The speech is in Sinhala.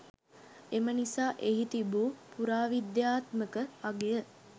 එම නිසා එහි තිබූ පුරාවිද්‍යාත්මක අගය